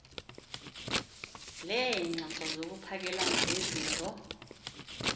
leengxoxo zokuphakelana ngezimvo